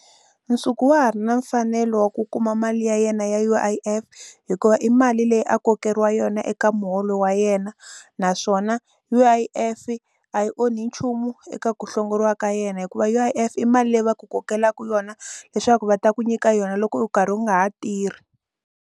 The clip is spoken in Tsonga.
Nsuku wa ha ri na mfanelo wa ku kuma mali ya yena ya U_I_F hikuva i mali leyi a kokeriwa yona eka muholo wa yena naswona U_I_F a yi onhi nchumu eka ku hlongoriwa ka yena hikuva U_I_F i mali leyi va ku kokelana yona leswaku va ta ku nyika yona loko u karhi u nga ha tirhi.